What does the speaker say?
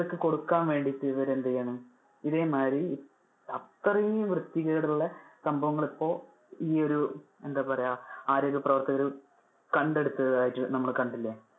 ലുകൾക്ക് കൊടുക്കാൻ വേണ്ടിട്ട് ഇവര് എന്ത് ചെയ്യാൻ ഇതേമാതിരി അത്രെയും വൃത്തികേടുള്ള സംഭവങ്ങൾ ഇപ്പൊ ഈ ഒരു എന്താ പറയാ ആരോഗ്യ പ്രവർത്തകര് കണ്ടെടുത്തതായിട്ട് നമ്മള് കണ്ടില്ലേ.